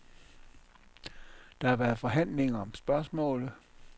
Der har været forhandlinger om spørgsmålet.